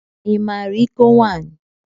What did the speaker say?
I maara iko nwaanyị?